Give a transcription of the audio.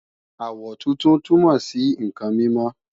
àwọ̀ funfun túnmọ̀ sí ǹkan mímọ́